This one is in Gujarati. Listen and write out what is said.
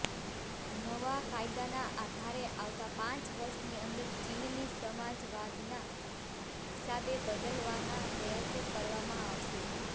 નવા કાયદાના આધારે આવતા પાંચ વર્ષની અંદર ચીનની સમાજવાદના હિસાબે બદલાવના પ્રયાસો કરવામાં આવશે